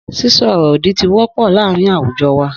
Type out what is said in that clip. Sísô òrò òdì ti wọ pọ láàrín awujọ wà.